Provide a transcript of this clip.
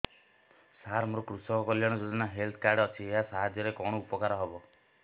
ସାର ମୋର କୃଷକ କଲ୍ୟାଣ ଯୋଜନା ହେଲ୍ଥ କାର୍ଡ ଅଛି ଏହା ସାହାଯ୍ୟ ରେ କଣ ଉପକାର ହବ